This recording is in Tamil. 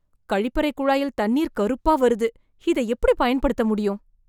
கழிப்பறை குழாயில் தண்ணீர் கருப்பா வருது, இத எப்படி பயன்படுத்த முடியும்